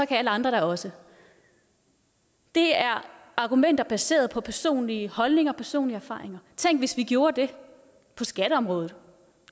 kan alle andre da også det er argumenter baseret på personlige holdninger og personlige erfaringer tænk hvis vi gjorde det på skatteområdet